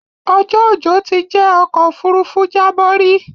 Ọjọ́ ojò ti jẹ́ ọ̀kọ̀ ofúrúfú jábọ̀ rí